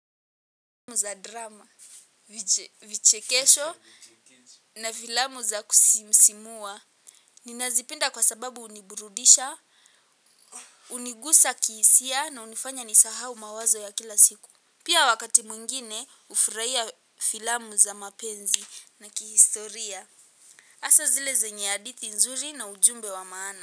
Filamu za drama, vichekesho na filamu za kusisimua. Ninazipenda kwa sababu huniburudisha, hunigusa kihisia naunifanya nisahau mawazo ya kila siku. Pia wakati mwingine, hufurahia filamu za mapenzi na kihistoria. Asa zile zenye hadithi nzuri na ujumbe wa maana.